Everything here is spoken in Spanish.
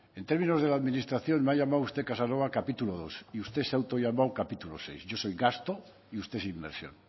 en términos de la administración me ha llamado usted casanova capítulo segundo y usted se ha autollamado capítulo sexto yo soy gasto y usted es inversión